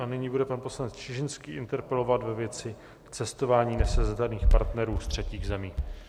A nyní bude pan poslanec Čižinský interpelovat ve věci cestování nesezdaných partnerů z třetích zemí.